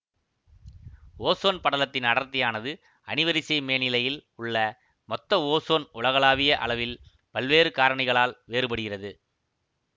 ozone படலத்தின் அடர்த்தியானது அணிவரிசை மேனிலையில் உள்ள மொத்த ஓசோன் உலகளாவிய அளவில் பல்வேறு காரணிகளால் வேறுபடுகிறது